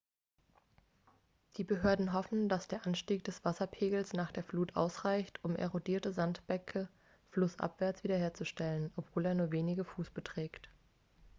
die behörden hoffen dass der anstieg des wasserpegels nach der flut ausreicht um erodierte sandbänke flussabwärts wiederherzustellen obwohl er nur wenige fuß beträgt